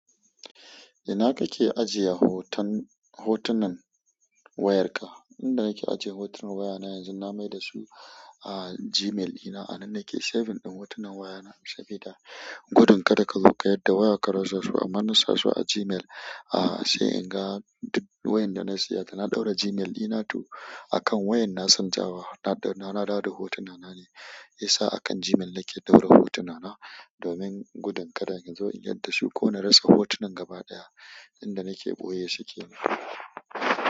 Ina kake ajiye hoton, hotunan wayarka? Inda nake ajiye hotunan wayana yanzu na maida su a Gmail dina. A nan nake saving din hotunan wayana sabida gudun kada ka zo ka yarda waya ka rasu, amma nasa su a Gmail. A sai in ga duk wayan da na siya ta. Na ɗaura Gmail ina tu akan wayan na canzawa. Na ɗaura, na dawo hotunana ne. Siya sa akan Gmail nake ɗaura hotunana domin gudun kada in zo in yarda su ko na rasa hotunan gaba ɗaya. Inda nake ɓoye su ke nan.